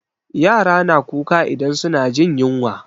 Yara na kuka idan su na jin yunwa